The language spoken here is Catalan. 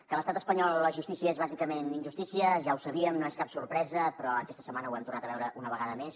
que a l’estat espanyol la justícia és bàsicament injustícia ja ho sabíem no és cap sorpresa però aquesta setmana ho hem tornat a veure una vegada més